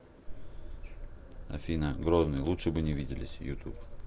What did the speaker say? афина грозный лучше бы не виделись ютуб